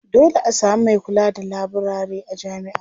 Dole a sami mai kula da laburare a jami'a.